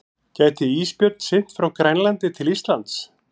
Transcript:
Gæti ísbjörn synt frá Grænlandi til Íslands?